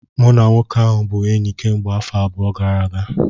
Mụ na nwoke ahụ bụ enyi kemgbe afọ abụọ gara aga